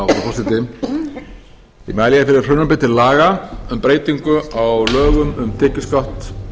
frú forseti ég mæli hér fyrir frumvarpi til laga um breyting á lögum um tekjuskatt